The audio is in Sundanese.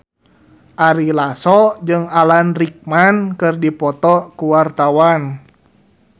Ari Lasso jeung Alan Rickman keur dipoto ku wartawan